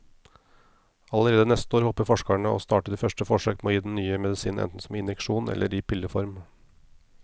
Allerede neste år håper forskerne å starte de første forsøk med å gi den nye medisinen enten som injeksjon eller i pilleform.